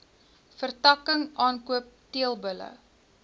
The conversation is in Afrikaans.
vertakking aankoop teelbulle